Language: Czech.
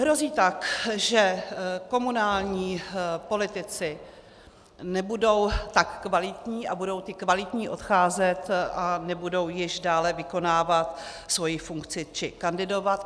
Hrozí tak, že komunální politici nebudou tak kvalitní a budou ti kvalitní odcházet a nebudou již dále vykonávat svoji funkci či kandidovat.